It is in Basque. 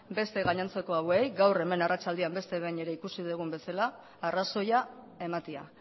beste gainontzeko hauei gaur arratsaldean ikusi dugun bezala arrazoia ematea